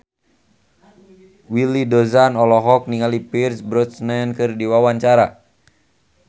Willy Dozan olohok ningali Pierce Brosnan keur diwawancara